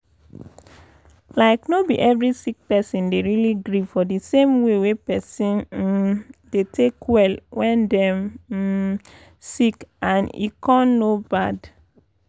like no be every sick person dey really gree for d same way wey pesin um dey take well wen dem um sick and e um no bad.